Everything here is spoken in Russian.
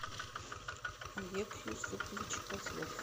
олег юсупович козлов